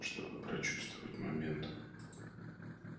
чтобы прочувствовать момент